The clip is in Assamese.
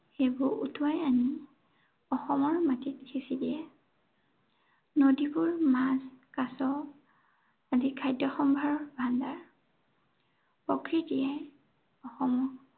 সেইবোৰ উটুৱাই আনি, অসমৰ মাটিত সিঁচি দিয়ে। নদীবোৰ মাছ, কাছ, আদি খাদ্য়সম্ভাৰৰ ভাণ্ডাৰ। প্ৰকৃতিয়ে সেইবোৰ উটুৱাই আনি